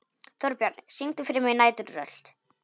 Þórbjarni, syngdu fyrir mig „Næturrölt“.